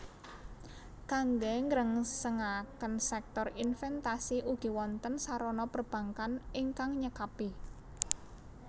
Kangge nggrengsengaken sèktor inventasi ugi wonten sarana perbankkan ingkang nyekapi